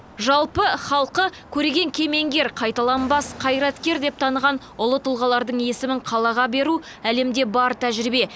жалпы халқы көреген кемеңгер қайталанбас қайраткер деп таныған ұлы тұлғалардың есімін қалаға беру әлемде бар тәжірибе